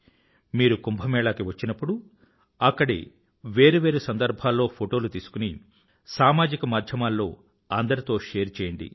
మీరు కుంభ మేళాకి వచ్చినప్పుడు అక్కడి వేరు వేరు సందర్భాల్లో ఫోటోలు తీసుకుని సామాజిక మాధ్యమాల్లో అందరితో షేర్ చేయండి